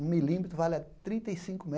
um milímetro vale a trinta e cinco